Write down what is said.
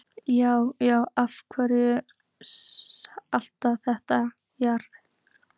Járn, járn, af hverju allt þetta járn?